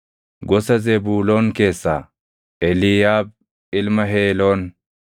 gosa Zebuuloon keessaa Eliiyaab ilma Heeloon;